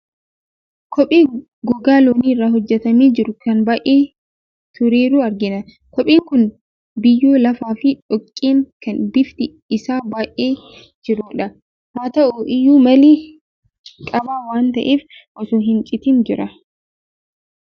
Kophee gogaa loonii irraa hojjetamee jiru, kan baay'ee tureeru argina. Kopheen kun biyyoo lafaa fi dhoqqeen kan bifti isaa baee jirudha. Haa ta'u iyyuu malee, jabaa waan ta'eef osoo hin citin jira.